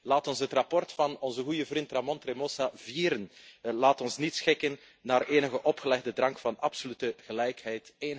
Laat ons het verslag van onze goede vriend Ramon Tremosa vieren. Laat we ons niet schikken naar enige opgelegde drang van absolute gelijkheid.